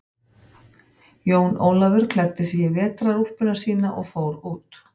Jón Ólafur klæddi sig í vetrarúlpuna sína og fór út.